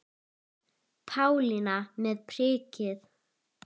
Pálína með prikið